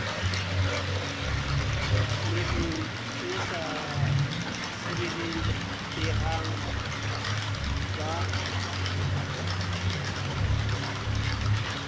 mekgeng e sa sireletsehang ba